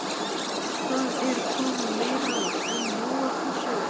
Það er komið meira en nóg af þessu!